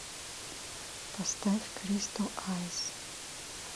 поставь кристал айс